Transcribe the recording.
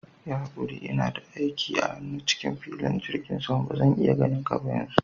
Yi hakuri, ina da aiki a hannu cikin filin jigin sama, bazan iya ganinka yanzu.